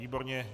Výborně.